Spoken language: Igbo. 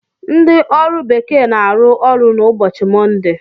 Ndị ọrụ bekee na-arụ ọrụ n'ụbọchị Mọnde.